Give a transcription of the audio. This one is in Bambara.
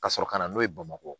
Ka sɔrɔ ka na n'o ye bamakɔ